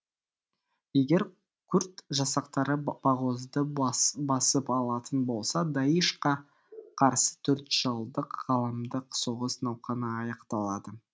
егер күрд жасақтары бағозды басып алатын болса даиш қа қарсы төртжылдық ғаламдық соғыс науқаны аяқталады